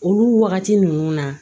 Olu wagati ninnu na